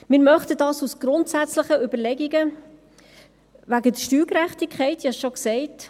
Wir möchten dies aus grundsätzlichen Überlegungen wegen der Steuergerechtigkeit, ich sagte dies bereits.